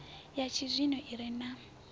ya tshizwino i re na